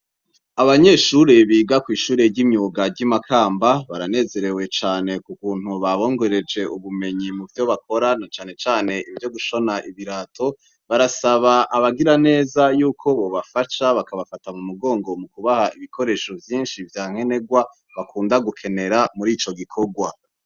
Abanyeshure biga kw'ishure ry'imyuga ry'i Makamba, baranezerewe cane k'ukuntu babongereje ubumenyi mu vyo bakora na canecane ivyo gushona ibirato, barasaba abagiraneza yuko bobafasha, bakabafata mu mugongo mu kubaha ibikoresho vyinshi vya nkenerwa, bakunda gukenera muri ico gikorwa.